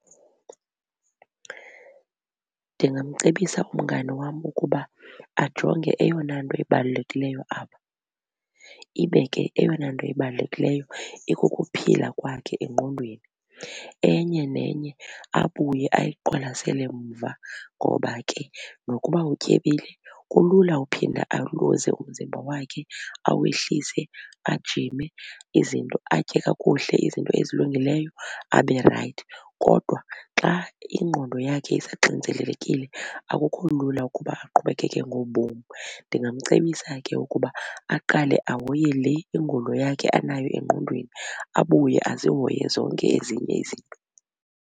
Ndingamcebisa umngani wam ukuba ajonge eyona nto ibalulekileyo apha ibe ke eyona nto ibalulekileyo ikukuphila kwakhe engqondweni. Enye nenye abuye ayiqwalasele mva ngoba ke nokuba utyebile kulula uphinda aluze umzimba wakhe, awehlise ajime izinto atye kakuhle izinto ezilungileyo abe rayithi. Kodwa xa ingqondo yakhe isaxinzelelekile akukho lula ukuba aqhubekeke ngobomi. Ndingamcebisa ke ukuba aqale ahoye le ingulo yakhe anayo engqondweni abuye azihoye zonke ezinye izinto.